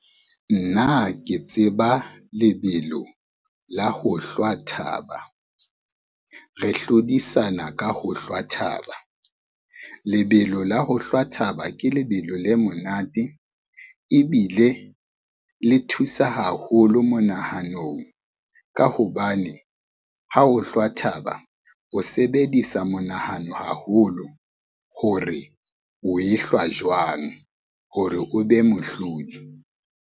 Nna ke tseba lebelo la ho hlwa thaba. Re hlodisana ka ho hlwa thaba, lebelo la ho hlwa thaba ke lebelo le monate ebile le thusa haholo monahanong ka hobane ha o hlwa thaba, o sebedisa monahano haholo hore o e hlwa jwang hore o be mohlodi.